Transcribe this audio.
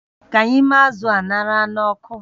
Ka anyị mee azụ̀ a ṅara n'ọkụ